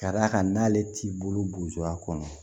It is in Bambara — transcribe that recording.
Ka d'a kan n'ale t'i bolo bunja a kɔnɔ